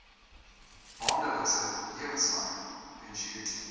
maandelikse lewenslange pensioen